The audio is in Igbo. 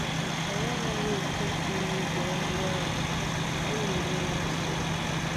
Anyị anaghị eti mkpu n’ubi ahịhịa ọgwụ, ọ na enye ya nsogbu.